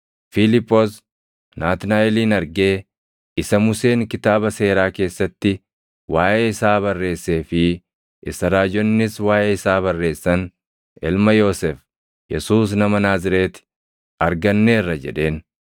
Fiiliphoos Naatnaaʼelin argee, “Isa Museen kitaaba Seeraa keessatti waaʼee isaa barreessee fi isa raajonnis waaʼee isaa barreessan, ilma Yoosef, Yesuus nama Naazreeti arganneerra” jedheen.